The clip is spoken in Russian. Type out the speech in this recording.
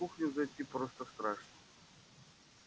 на кухню зайти просто страшно